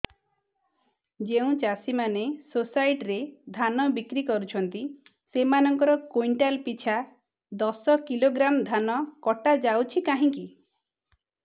ଯେଉଁ ଚାଷୀ ମାନେ ସୋସାଇଟି ରେ ଧାନ ବିକ୍ରି କରୁଛନ୍ତି ସେମାନଙ୍କର କୁଇଣ୍ଟାଲ ପିଛା ଦଶ କିଲୋଗ୍ରାମ ଧାନ କଟା ଯାଉଛି କାହିଁକି